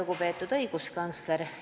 Lugupeetud õiguskantsler!